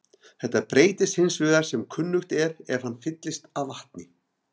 Þetta breytist hins vegar sem kunnugt er ef hann fyllist af vatni.